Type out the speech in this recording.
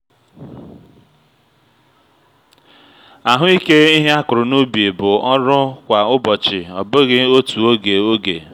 ahụike ihe a kụrụ n’ubi bụ ọrụ kwa ụbọchị ọ bụghị otu oge oge